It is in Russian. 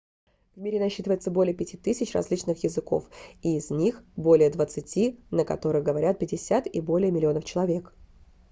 в мире насчитывается более 5000 различных языков и из них более двадцати на которых говорят 50 и более миллионов человек